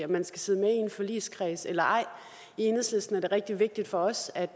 man skal sidde med i en forligskreds eller ej i enhedslisten er det rigtig vigtigt for os at